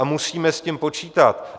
A musíme s tím počítat.